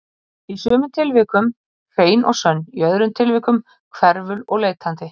Í sumum tilvikum hrein og sönn, í öðrum tilvikum hverful og leitandi.